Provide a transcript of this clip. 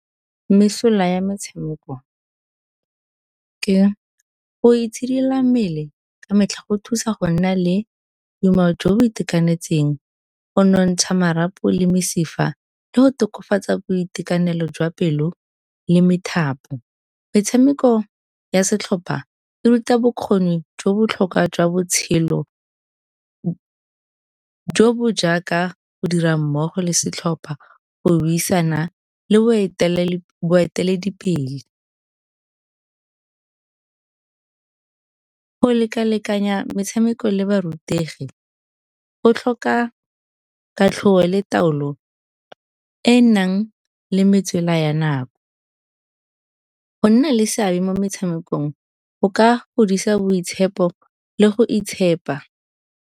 Mesola ya metshameko ke go itshidila mmele ka metlha go thusa go nna le boitumelo jo bo itekanetseng, go nontsha marapo le mesifa le go tokafatsa boitekanelo jwa pelo le methapo. Metshameko ya setlhopha e ruta bokgoni jo botlhokwa jwa botshelo jo bo jaaka go dira mmogo le setlhopha, go buisana le boeteledipele. Go leka-lekanya metshameko le barutegi go tlhoka le taolo e e nang le metswela ya nako. Go nna le seabe mo metshamekong go ka godisa boitshepo le go itshepa.